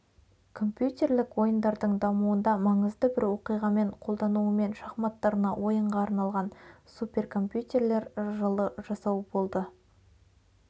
компьютерлік ойындардың дамуында маңызды бір оқиғамен қолдануымен шахматтарына ойынға арналған суперкомпьютерлер жылы жасау болды